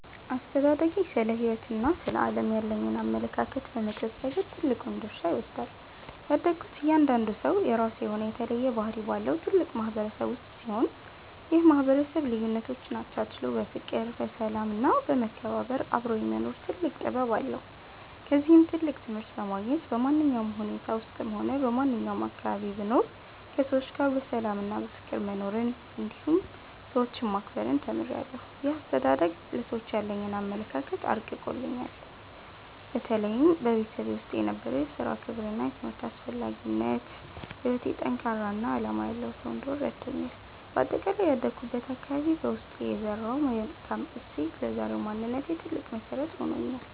አስተዳደጌ ስለ ሕይወትና ስለ ዓለም ያለኝን አመለካከት በመቅረጽ ረገድ ትልቁን ድርሻ ይወስዳል። ያደግኩት እያንዳንዱ ሰው የራሱ የሆነ የተለየ ባህሪ ባለው ትልቅ ማህበረሰብ ውስጥ ሲሆን፣ ይህ ማህበረሰብ ልዩነቶችን አቻችሎ በፍቅር፣ በሰላም እና በመከባበር አብሮ የመኖር ትልቅ ጥበብ አለው። ከዚህም ትልቅ ትምህርት በማግኘት፣ በማንኛውም ሁኔታ ውስጥም ሆነ በማንኛውም አካባቢ ብኖር ከሰዎች ጋር በሰላምና በፍቅር መኖርን እንዲሁም ሰዎችን ማክበርን ተምሬያለሁ። ይህ አስተዳደግ ለሰዎች ያለኝን አመለካከት አርቆልኛል። በተለይም በቤተሰቤ ውስጥ የነበረው የሥራ ክብርና የትምህርት አስፈላጊነት፣ በሕይወቴ ጠንካራና ዓላማ ያለው ሰው እንድሆን ረድቶኛል። በአጠቃላይ ያደግኩበት አካባቢ በውስጤ የዘራው መልካም እሴት ለዛሬው ማንነቴ ትልቅ መሰረት ሆኖኛል።